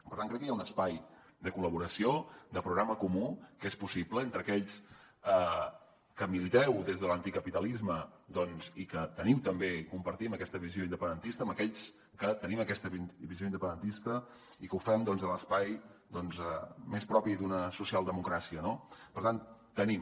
per tant crec que hi ha un espai de col·laboració de programa comú que és possible entre aquells que militeu des de l’anticapitalisme doncs i que teniu també i compartim aquesta visió independentista amb aquells que tenim aquesta visió independentista i que ho fem a l’espai més propi d’una socialdemocràcia no per tant tenim